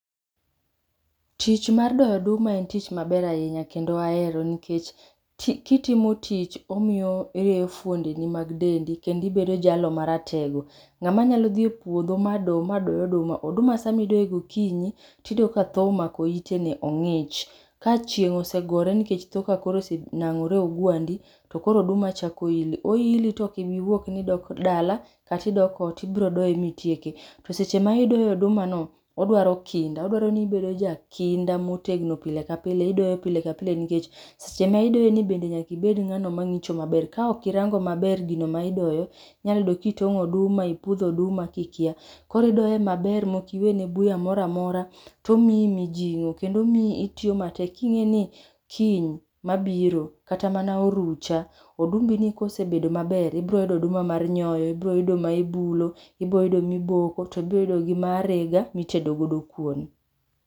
Tich mar doyo oduma en tich maber ahinya kendo ahero nikech kitim tich, omiyo irieyo fwondeni mag dendi kendo ibedo jalno maratego. Ng'ama nyalo dhi e puodho ma do, ma doyo oduma samidoye gokinyi, tiyudo ka tho omako itene, ong'ich. Ka chieng' osegore nikech tho kakoro osenang'ore e ogwandi to koro oduma chako ili. Oili to kiwuok nidok dala, kata idok ot tibro doye mitieke. To seche ma idoyo odumano, odwaro kinda. Odwaro ni bedo jakinda motegno pile ka pile, idoye pile ka pile nikech sama idoye ni bende nyaka ibed ng'ano mang'icho maber. Ka ok irango maber gino ma idoyo, inyalo yudo ka itong'o oduma, ipudho oduma kikia. Koro idoye maber mokiwene buya mora mora, to omiyi mijing'o, kendo omiyi itiyo matek. King'e ni kiny mabiro kata mana orucha, odumbini kosebedo maber, ibroyudo oduma mar nyoyo, ibro yudo ma ibulo, ibro yudo miboko, to ibro yudigo ma arega ma itede godo kuon.